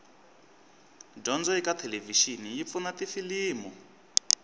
dyondzo ekathelevishini yipfuna tifilimu